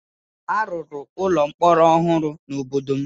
A rụrụ ụlọ mkpọrọ ọhụrụ n'obodo m